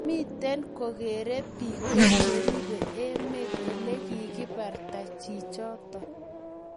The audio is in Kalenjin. miten kogeerei Biko cheribe emet olegigibarta chichoto